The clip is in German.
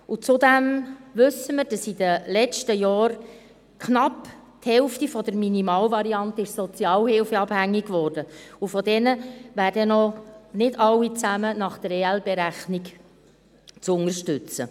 Zudem wissen wir, dass in den letzten Jahren knapp die Hälfte der Minimalvariante sozialhilfeabhängig wurde, und von diesen Personen wären nicht alle nach der Berechnung der Ergänzungsleistungen (EL) zu unterstützen.